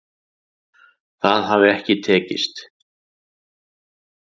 Það hafi ekki tekist